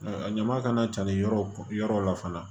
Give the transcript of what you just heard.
A ɲama kana ca yɔrɔ yɔrɔ la fana